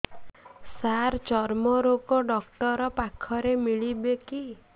ସାର ଚର୍ମରୋଗ ଡକ୍ଟର ପାଖରେ ମିଳିବେ କି